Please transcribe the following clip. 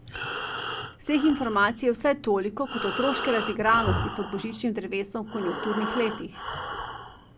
Vseh informacij je vsaj toliko kot otroške razigranosti pod božičnim drevesom v konjunkturnih letih.